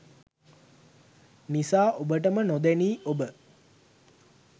නිසා ඔබටම නොදැනී ඔබ